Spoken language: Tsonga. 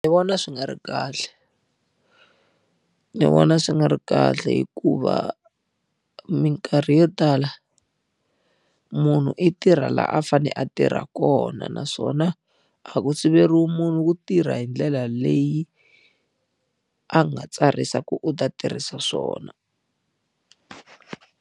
Ni vona swi nga ri kahle. Ni vona swi nga ri kahle hikuva minkarhi yo tala, munhu i tirha laha a fanele a tirha kona. Naswona, a ku siveriwa munhu ku tirha hi ndlela leyi a nga tsarisa ku u ta tirhisa swona